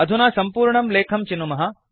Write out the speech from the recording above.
अधुना संपूर्णं लेखं चिनुमः